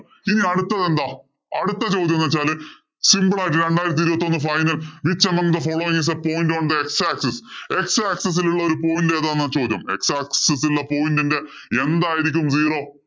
ഇനി അടുത്തത് എന്താ? അടുത്തൊരു ചോദ്യം എന്ന് വച്ചാല് simple ആയിട്ട് രണ്ടായിരത്തി ഇരുപത്തിയൊന്ന് final which among the follow is the point on the x axis? X axis ഇലുള്ള ഒരു point എതാന്നാ ചോദ്യം? X axis ഇലുള്ള point ഇന്‍റെ എന്തായിരിക്കും zero?